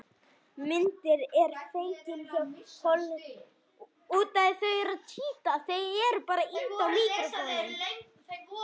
Myndin er fengin hjá hollensku sjávarútvegsfyrirtæki sem veiðir meðal annars kolmunna.